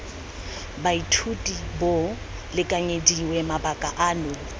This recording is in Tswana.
baithuti bo lekanyediwe mabaka ano